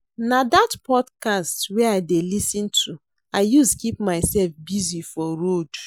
Na dat podcast wey I dey lis ten to I use keep mysef busy for road.